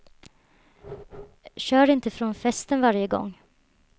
Kör inte från festen varje gång.